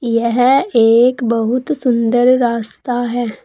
यह एक बहुत सुन्दर रास्ता है।